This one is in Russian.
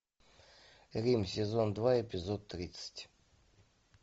рим сезон два эпизод тридцать